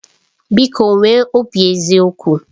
Biko nwee obi eziokwu